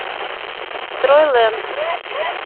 стройлэнд